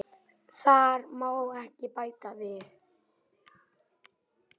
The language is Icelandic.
Þar má ekki bæta við.